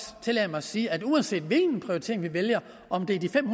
tillade mig at sige at uanset hvilken prioritering vi vælger om det er de fem